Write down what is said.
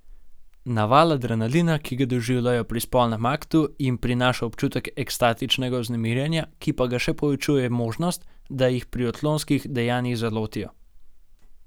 Naval adrenalina, ki ga doživijo pri spolnem aktu, jim prinaša občutek ekstatičnega vznemirjenja, ki pa ga še povečuje možnost, da jih pri odklonskih dejanjih zalotijo.